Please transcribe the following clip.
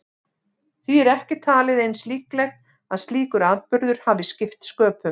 Því er ekki talið eins líklegt að slíkur atburður hafi skipt sköpum.